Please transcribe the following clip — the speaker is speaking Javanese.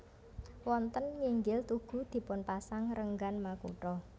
Wonten nginggil tugu dipunpasang renggan makutha